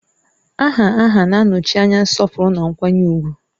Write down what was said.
Aha aha na-anọchi anya nsọpụrụ na nkwanye ùgwù